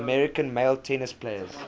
american male tennis players